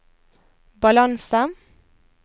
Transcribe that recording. balanse